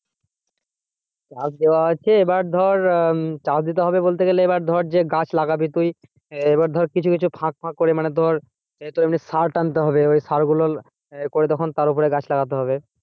চাষ দেওয়া আছে এবার ধর আহ হম চাষ দিতে হবে বলতে গেলে এবার ধর যে গাছ লাগবে তুই এবার ধর কিছু ফাঁক ফাঁক করে মানে ধর তোর এমনি সার টানতে হবে ওই সার গুলো এ করে তার ওপর গাছ লাগাতে হবে।